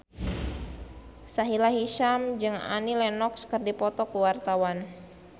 Sahila Hisyam jeung Annie Lenox keur dipoto ku wartawan